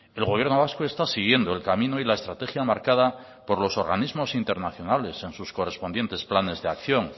el gobierno vasco está siguiendo el camino y la estrategia marcada por los organismos internacionales en sus correspondientes planes de acción